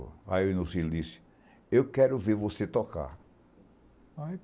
Aí o Nuzito disse, eu quero ver você tocar.